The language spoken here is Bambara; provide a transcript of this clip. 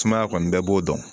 Sumaya kɔni bɛɛ b'o dɔn